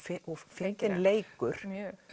fyndinn leikur